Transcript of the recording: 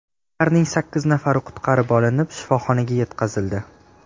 Ularning sakkiz nafari qutqarib olinib, shifoxonaga yetkazildi.